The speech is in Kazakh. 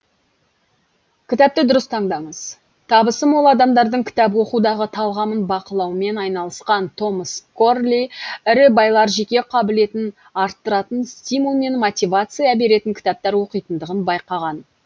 кітапты дұрыс таңдаңыз табысы мол адамдардың кітап оқудағы талғамын бақылаумен айналысқан томас корли ірі байлар жеке қабілетін арттыратын стимул мен мотивация беретін кітаптар оқитындығын байқаған